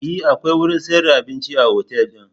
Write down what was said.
E, akwai wurin sayar da abinci a otal din.